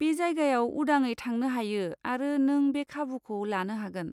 बे जायगायाव उदाङै थांनो हायो आरो नों बे खाबुखौ लानो हागोन।